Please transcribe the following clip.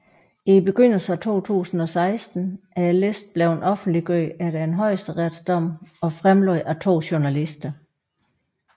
I begyndelsen af 2016 er listen blevet offentliggjort efter en højesteretsdom og fremlagt af to journalister